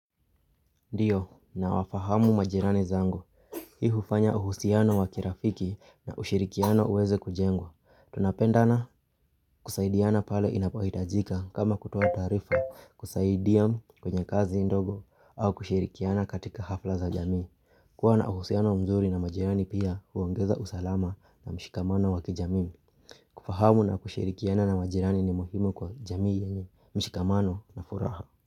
Ndiyo, nawafahamu majirani zangu. Hii hufanya uhusiano wa kirafiki na ushirikiano uweze kujengwa. Tunapendana kusaidiana pale inapaitajika kama kutoa taarifa kusaidia kwenye kazi ndogo au kushirikiana katika hafla za jamii. Kuwa na uhusiano mzuri na majirani pia huongeza usalama na mshikamano wa kijamii. Kufahamu na kushirikiana na majirani ni muhimu kwa jamii yenye mshikamano na furaha.